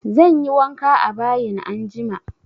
Zanyi wanka a bayin anjima